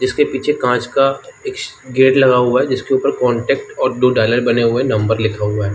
इसके पीछे कांच का एक गेट लगा हुआ हैजिसके ऊपर से कॉन्टैक्ट और दो डाईलर बने हुए है नंबर लिखा हुआ है।